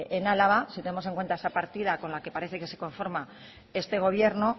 en álava si tenemos en cuenta esta partida con la que parece que se conforma este gobierno